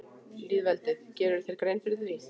Lýðveldið, gerirðu þér grein fyrir því?